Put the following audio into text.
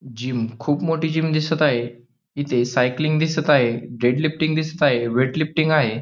Gym खूप मोठी gym दिसत आहे. इथे सायकलिंग दिसत आहे. डेड लिफ्टिंग दिसत आहे. वेटलिफ्टिंग आहे.